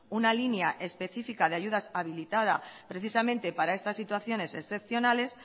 una línea específica de ayudas habilitada precisamente para estas situaciones excepcionales